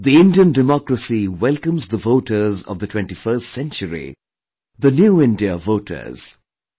The Indian Democracy welcomes the voters of the 21st century, the 'New India Voters'